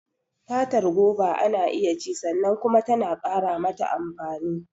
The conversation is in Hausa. Fatar goba ana iya ci sannan kuma tana ƙara mata amfani.